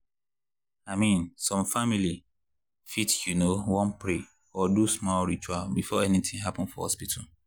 i mean some families fit you know wan pray or do their small ritual before anything happen for hospital.